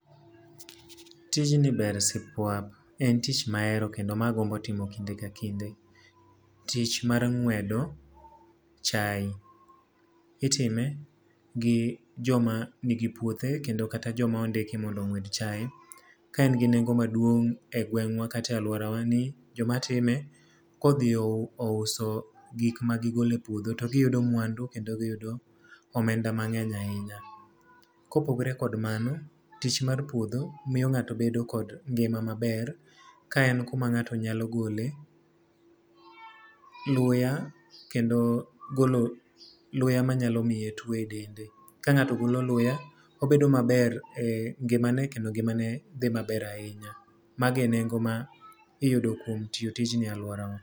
Tijni ber sipwap. En tich mahero kendo ma agombo timo kinde ka kinde. Tich mar ng'wedo chai. Itime gi joma nigi puothe kendo kata joma ondiki mondo ong'wed chai. Ka en gi nengo maduong' egweng'wa kata e alworawa ni, jomatime ka odhi ouso gik ma gigolo e puodho to giyudo mwandu kendo giyudo omenda mangény ahinya. Kopogore kod mano, tich mar puodho miyo ngáto bedo kod ngima maber, ka en kuma ngáto nyalo gole luya kendo golo luya manyalo miye two e dende. Ka ngáto golo luya, obedo maber e ngimane, kendo ngimane dhi maber ahinya. Mago e nengo ma iyudo kuom tiyo tijni e alworawa.